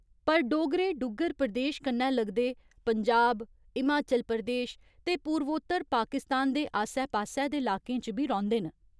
पर डोगरे डुग्गर प्रदेश कन्नै लगदे पंजाब, हिमाचल प्रदेश ते पूर्वोत्तर पाकिस्तान दे आस्सै पास्सै दे लाकें च बी रौंह्‌दे न।